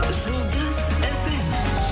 жұлдыз фм